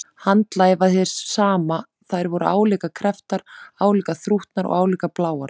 Handarlagið var hið sama, og þær voru álíka krepptar, álíka þrútnar og álíka bláar.